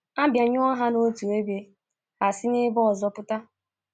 A bịanyụọ ha n’otu ebe, ha esi n’ebe ọzọ pụta.